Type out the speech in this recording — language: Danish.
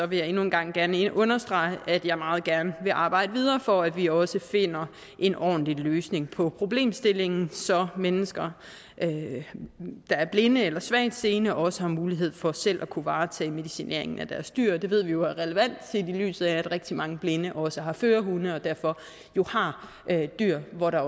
vil jeg endnu en gang gerne understrege at jeg meget gerne vil arbejde videre for at vi også finder en ordentlig løsning på problemstillingen så mennesker der er blinde eller svagtseende også har mulighed for selv at kunne varetage medicineringen af deres dyr det ved vi er relevant set i lyset af at rigtig mange blinde også har førerhunde og derfor jo har dyr hvor der